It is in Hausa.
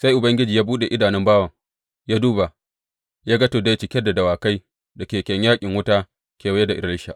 Sai Ubangiji ya buɗe idanun bawan, ya duba, ya ga tuddai cike da dawakai da keken yaƙin wuta kewaye da Elisha.